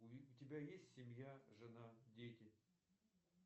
у тебя есть семья жена дети